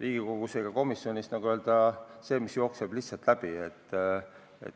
Riigikogus ega komisjonis selline asi, mis jookseb lihtsalt sealt läbi.